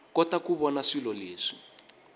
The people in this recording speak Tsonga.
kota ku vona swilo leswi